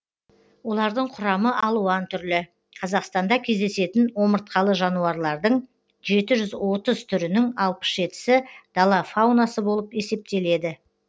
олардың құрамы алуан түрлі қазақстанда кездесетін омыртқалы жануарлардың жеті жүз отыз түрінің алпыс жетісі дала фаунасы болып есептеледі